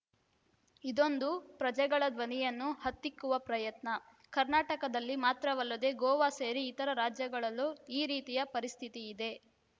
ಇದೊಂದು ಪ್ರಜೆಗಳ ಧ್ವನಿಯನ್ನು ಹತ್ತಿಕ್ಕುವ ಪ್ರಯತ್ನ ಕರ್ನಾಟಕದಲ್ಲಿ ಮಾತ್ರವಲ್ಲದೆ ಗೋವಾ ಸೇರಿ ಇತರ ರಾಜ್ಯಗಳಲ್ಲೂ ಈ ರೀತಿಯ ಪರಿಸ್ಥಿತಿ ಇದೆ